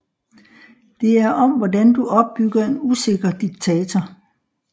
Det er om hvordan du opbygger en usikker diktator